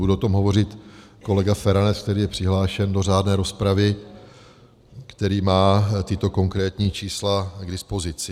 Bude o tom hovořit kolega Feranec, který je přihlášen do řádné rozpravy, který má tato konkrétní čísla k dispozici.